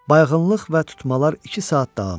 Bayğınlıq və tutmalar iki saat davam etdi.